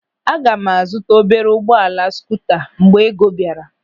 Aga m a zụta obere ụgbọala skuuta mgbe ego bịara.